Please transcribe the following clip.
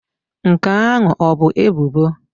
Nke ahụ ọ bụ ebubo?